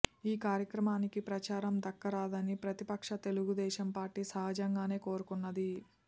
ఈ కార్య క్రమానికి ప్రచారం దక్కరాదని ప్రతిపక్ష తెలుగుదేశం పార్టీ సహజంగానే కోరుకున్నది